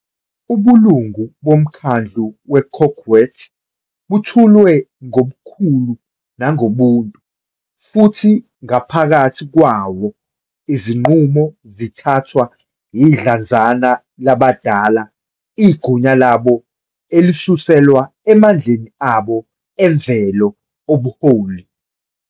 Ubulungu bomkhandlu we- "kokwet butholwe ngobukhulu nangobuntu" futhi ngaphakathi kwawo izinqumo zithathwa yidlanzana labadala igunya labo elisuselwa emandleni abo emvelo obuholi.